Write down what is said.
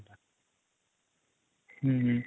ହଁ